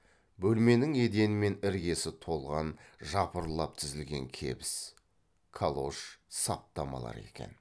бөлменің едені мен іргесі толған жапырлап тізілген кебіс калош саптамалар екен